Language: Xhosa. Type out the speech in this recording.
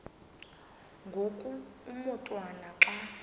ngoku umotwana xa